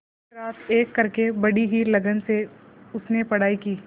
दिनरात एक करके बड़ी ही लगन से उसने पढ़ाई की